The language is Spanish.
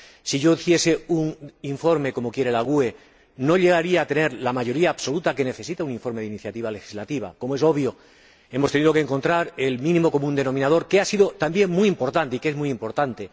Si yo hiciese un informe como quiere el Grupo GUE NGL, no llegaría a tener la mayoría absoluta que necesita un informe de iniciativa legislativa. Como es obvio, hemos tenido que encontrar el mínimo común denominador, que ha sido también muy importante, y que es muy importante.